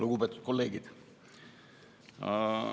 Lugupeetud kolleegid!